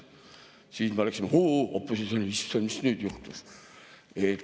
Siis me hüüaksime opositsioonis: "Issand, mis nüüd juhtus?